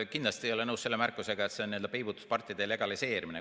Ma kindlasti ei ole nõus selle märkusega, et see on n-ö peibutuspartide legaliseerimine.